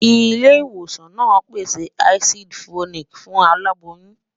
ilé ìwòsàn nà pèsè àsídí folic fún aláboyún